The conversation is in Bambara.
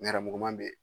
Nɛrɛmuguman be yen